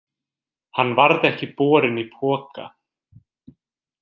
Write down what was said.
Hann varð ekki borinn í poka.